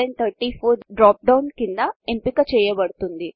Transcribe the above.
default గా రూపాయి 1234 drop down క్రింద ఎంపిక చెయ్యబడుతుంది